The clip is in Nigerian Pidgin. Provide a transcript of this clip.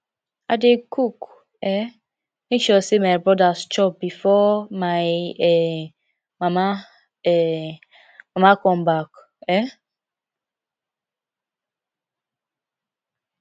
i dey cook um make sure sey my brodas chop befor my um mama um mama come back um